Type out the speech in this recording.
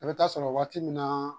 I bɛ ta'a sɔrɔ waati min na